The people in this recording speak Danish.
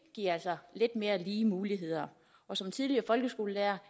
giver altså lidt mere lige muligheder og som tidligere folkeskolelærer